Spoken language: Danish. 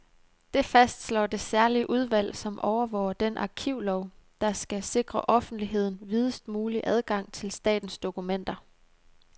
Det fastslår det særlige udvalg, som overvåger den arkivlov, der skal sikre offentligheden videst mulig adgang til statens dokumenter.